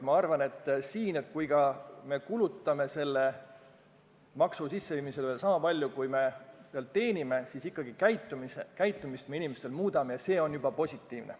Ma arvan, et kui me ka kulutame selle maksu kogumisele sama palju, kui me sealt teenime, siis juba see, et me muudame inimeste käitumist, on positiivne.